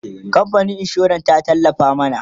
kamfanin insuran ta tallafa mana